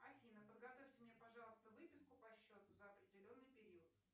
афина подготовьте мне пожалуйста выписку по счету за определенный период